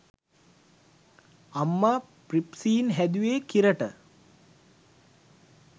අම්මා ප්‍රිප්සීන් හැදුවෙ කිරට.